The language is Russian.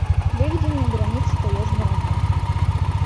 выведи мне граница таежный роман